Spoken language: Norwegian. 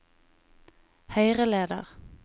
høyreleder